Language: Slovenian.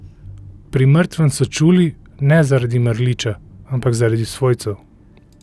Pri mrtvem so čuli, ne zaradi mrliča, ampak zaradi svojcev.